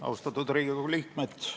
Austatud Riigikogu liikmed!